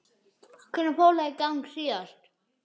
Hvenær fór það í gang síðast?